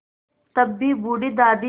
तब भी बूढ़ी दादी